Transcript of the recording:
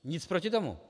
Nic proti tomu.